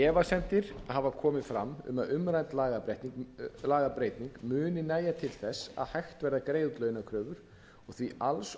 efasemdir hafa komið um að umrædd lagabreyting muni nægja til þess að hægt verði að greiða út launakröfur og því alls